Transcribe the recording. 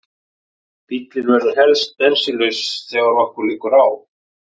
Bíllinn verður helst bensínlaus þegar okkur liggur á.